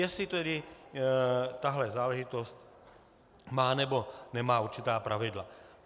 Jestli tedy tahle záležitost má, nebo nemá určitá pravidla.